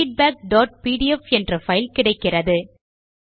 feedbackபிடிஎஃப் என்ற பைல் கிடைக்கிறது